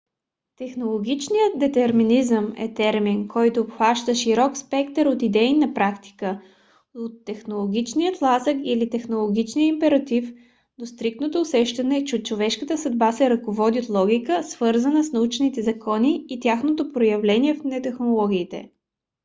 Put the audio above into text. технологичният детерминизъм е термин който обхваща широк спектър от идеи на практика - от технологичния тласък или технологичния императив до стриктното усещане че човешката съдба се ръководи от логика свързана с научните закони и тяхното проявление в технологиите